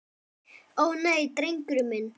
Ó, nei, drengur minn.